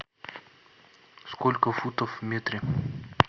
сколько футов в метре